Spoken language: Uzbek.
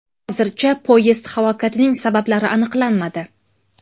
Hozircha poyezd halokatining sabablari aniqlanmadi.